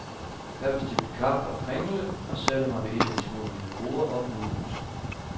Jeg bestilte kaffe og kringle og satte mig ved et af de små hvide borde op mod huset.